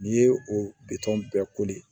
N'i ye o bitɔn bɛɛ